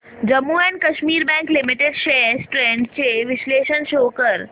Jammu and Kashmir bank limited shares trends चे विश्लेषण show कर